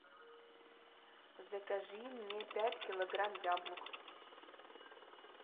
закажи мне пять килограмм яблок